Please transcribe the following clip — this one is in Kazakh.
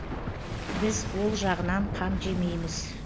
біз ол жағынан қам жемейміз